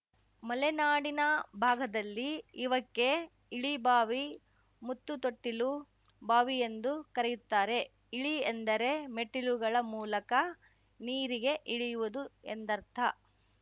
ಮಲೆನಾಡಿನ ಭಾಗದಲ್ಲಿ ಇವಕ್ಕೆ ಇಳಿಬಾವಿ ಮುತ್ತುತೊಟ್ಟಿಲು ಬಾವಿಎಂದುಕರೆಯುತ್ತಾರೆ ಇಳಿ ಎಂದರೆ ಮೆಟ್ಟಿಲುಗಳ ಮೂಲಕ ನೀರಿಗೆ ಇಳಿಯುವುದು ಎಂದರ್ಥ